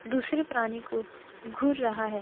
दूसरे प्राणी को घूर रहा है।